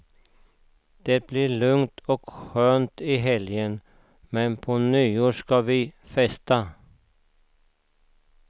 Det blir lugnt och skönt hela helgen, men på nyår ska vi festa.